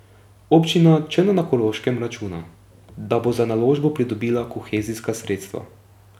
Občina Črna na Koroškem računa, da bo za naložbo pridobila kohezijska sredstva.